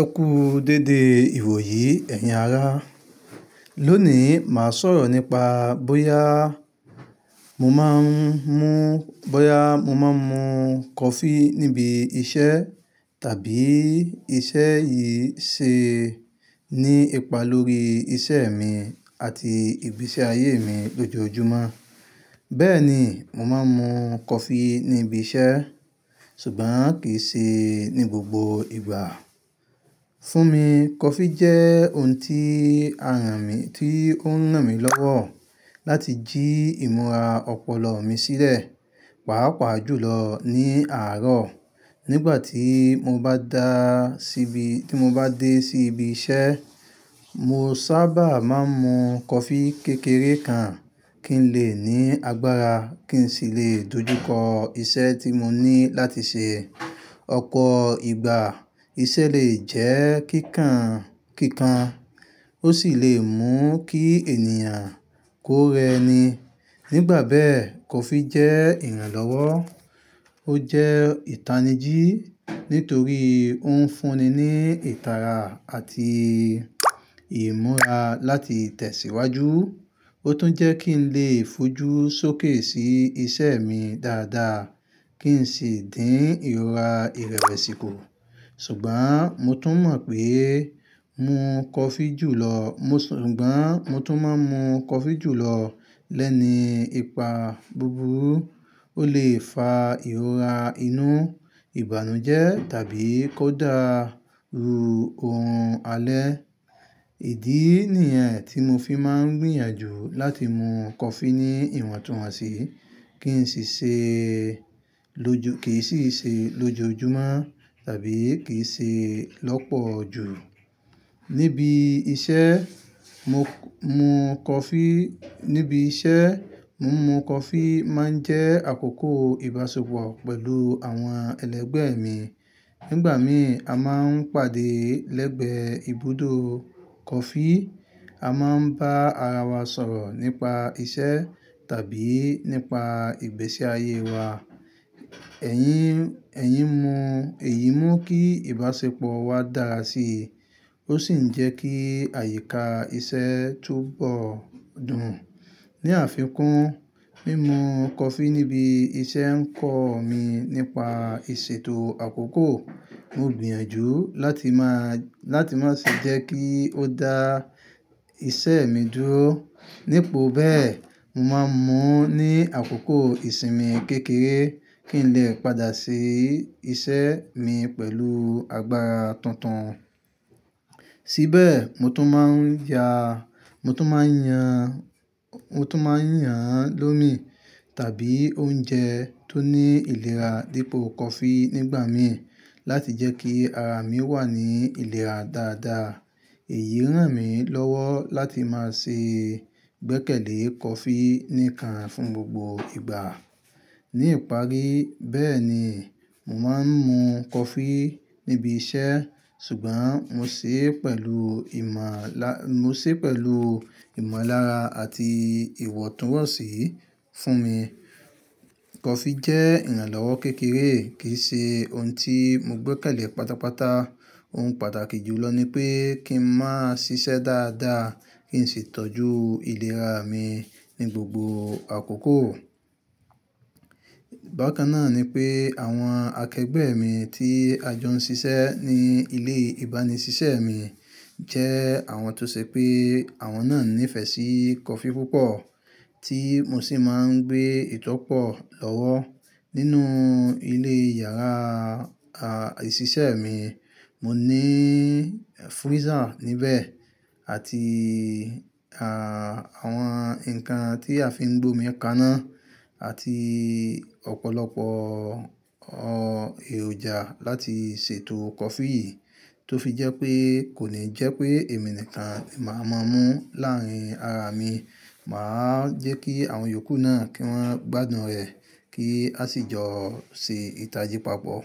Ẹ kú dédé ìwòyí ẹ̀yin ará. Lónìí, màá sọ̀rọ̀ nípa bóyá mo máa ń mu, bóyá mo máa ń mu coffee níbi iṣẹ́ tàbí iṣẹ́ yìí ṣe ní ipa lórí iṣẹ́ mi àti ìgbésí ayé mi lójoojúmọ́. Bẹ́ẹ̀ ni, mo máa ń mu coffee níbi iṣẹ́ ṣùgbọ́n kì í ṣe ní gbogbo ìgbà. Fún mi, coffee jẹ́ ohun tí a rán mi, tí ó ń ràn mí lọ́wọ́ láti jí ìmúra ọpọlọ mi sílẹ̀, pàápàá jùlọ ní àárọ̀. Nígbà tí mo bá dá síbi, tí mo bá dé sí ibi iṣẹ́, mo sábà máa ń mu coffee kékeré kan kí n lè ní agbára kí n sì lè dojúkọ iṣẹ́ tí mo ní láti ṣe. Ọ̀pọ̀ ìgbà, iṣẹ́ lè jẹ́ kíkan, kíkan, ó sì lè mú kí ènìyàn kó rẹni. Nígbà bẹ́ẹ̀, coffee jẹ́ ìrànlọ́wọ́. Ó jẹ́ ìtanijí nítorí ó ń fún ni ní ìtara àti ìmúra láti tẹ̀síwájú. Ó tún jẹ́ kí n lè fojú sókè sí iṣẹ́ mi dáadáa kí n sì dín ìrora ìrẹ́wesi ku. Ṣùgbọ́n mo tún mọ̀ pé mu coffee jùlọ, mo ṣùgbọ́n mo tún máa ń mu coffee jùlọ lẹ́ni ipa búburú. Ó lè fa ìrora inú, ìbànújẹ́ tàbí kó dá rú ohun alẹ́. Ìdí nìyẹn tí mo fi máa ń gbìyànjú láti mu coffee ní ìwọ̀ntúnwọ̀nsí, kì í sì ṣe lójo, kì í sì ṣe lójoojúmọ́ tàbí kì í ṣe lọ́pọ̀ ju. Níbi iṣẹ́, mo mu coffee, níbi iṣẹ́, mo mu coffee máa ń jẹ́ àkókò ìbáṣepọ̀ pẹ̀lú àwọn ẹlẹgbẹ́ mi. Nígbà mìí, a máa ń pàdé lẹ́gbẹ̀ẹ́ ibùdó coffee. A máa ń bá ara wa sọ̀rọ̀ nípa iṣẹ́ tàbí nípa ìgbésí ayé wa. Ẹ̀yin, ẹ̀yin mú, èyí mú kí ìbáṣepọ̀ wa dára sí i, ó sì ń jẹ́ kí àyíká iṣẹ́ túbọ̀ dùn. Ní àfikún, mímu coffee níbi iṣẹ́ ń kọ́ mi nípa ìṣètò àkókò. Mo gbìyànjú láti máa, láti má ṣe jẹ́ kí ó dá iṣẹ́ mi dúró. Nípo bẹ́ẹ̀, mo máa ń mú ní àkókò ìsinmi kékeré kí n lè padà ṣi iṣẹ́ mi pẹ̀lú agbára tuntun. Síbẹ̀, mo tún máa ń ya, mo tún máa ń yan, mo tún máa ń yan lómi tàbí oúnjẹ tó ní ìlera dípò coffee nígbà mìí láti jẹ́ kí ara mi wà ní ìlera dáadáa. Èyí ń ràn mí lọ́wọ́ láti máa ṣe gbẹ́kẹ̀lé coffee níkan fún gbogbo ìgbà. Ní ìparí, bẹ́ẹ̀ ni, mo máa ń mu coffee níbi iṣẹ́ ṣùgbọ́n mo ṣe pẹ̀lú ìmọ̀ lá, mo ṣe pẹ̀lú ìmọ̀lára àti ìwọ̀ntúnwọ̀nsí. Fún mi, coffee jẹ́ ìrànlọ́wọ́ kékeré, kì í ṣe ohun tí mo gbẹ́kẹ̀lé pátápátá. Ohun pàtàkì jùlọ ni pé kí n máa ṣiṣẹ́ dáadáa kí n sì tọ́jú ìlera mi ní gbogbo àkókò. Bàkan náà ni pé àwọn akẹgbẹ́ mi tí a jọ ń ṣiṣẹ́ ní ilé ìbánisẹ́ṣẹ́ mi jẹ́ àwọn tó ṣe pé àwọn náà nífẹ̀ẹ́ sí coffee púpọ̀ tí mo sì máa ń gbé ìtọ́pọ̀ lọ́wọ́. Nínú ilé yàrá a, ìṣiṣẹ́ mi, mo ní freezer níbẹ̀ àti, àwọn ǹkan tí a fi ń gbómi kaná àti ọ̀pọ̀lọpọ̀ o, èròjà láti ṣètò coffee yìí tó fi jẹ́ pé kò ní jẹ́ pé èmi nìkan la máa máa mú láàárín ara mi. Màá jẹ́ kí àwọn yòókù náà kí wọ́n gbádùn rẹ̀ kí a sì jọ ṣe ìtajì papọ̀.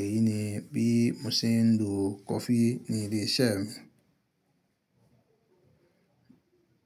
Èyí ni bí mo ṣe ń lo coffee ní ilé iṣẹ́ mi.